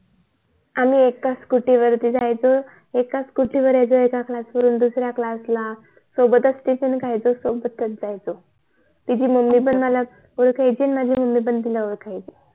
आम्ही एका गाडी नि जायचो एका च गाडी नि यायचो एका क्लास वरून दुसर्या क्लास ला सोबत च टिफिन खायचो सोबत च जायचो तिची पण आई मला ओळखायची आणि माझी पण आई तिला ओळखायची